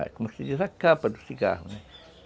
como se diz, a capa do cigarro, né?